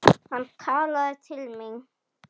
Hann talaði til mín.